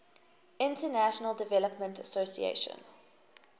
international development association